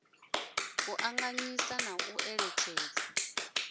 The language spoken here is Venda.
u ṱanganyisa na u eletshedzana